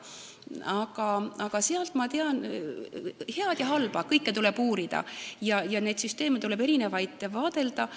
Aga ma tean sealt head ja halba, kõike tuleb uurida ja tuleb vaadelda erinevaid süsteeme.